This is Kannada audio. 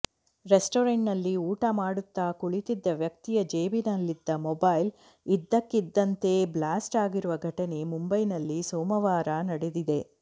ರೆಸ್ಟೋರೆಂಟ್ ನಲ್ಲಿ ಊಟ ಮಾಡುತ್ತ ಕುಳಿತಿದ್ದ ವ್ಯಕ್ತಿಯ ಜೇಬಿನಲ್ಲಿದ್ದ ಮೊಬೈಲ್ ಇದ್ದಕ್ಕಿದ್ದಂತೆ ಬ್ಲಾಸ್ಟ್ ಆಗಿರುವ ಘಟನೆ ಮುಂಬೈನಲ್ಲಿ ಸೋಮವಾರ ನಡೆದಿದೆ